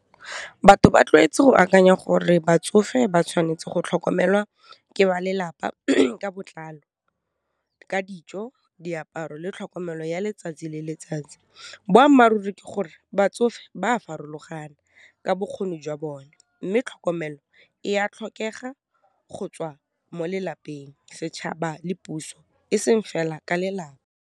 Batho ba tlwaetse go akanya gore batsofe ba tshwanetse go tlhokomelwa ke ba lelapa ka botlalo, ka dijo, diaparo, le tlhokomelo ya letsatsi le letsatsi, boammaruri ke gore, batsofe ba a farologana ka bokgoni jwa bone, mme tlhokomelo e a tlhokega go tswa mo lelapeng, setšhaba, le puso, eseng fela ka lelapa.